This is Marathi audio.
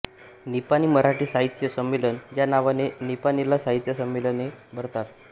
निपाणी मराठी साहित्य संमेलन या नावाने निपाणीला साहित्य संमेलने भरतात